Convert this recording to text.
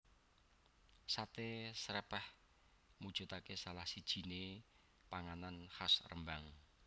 Sate Srèpèh mujudake salah sijiné panganan khas Rembang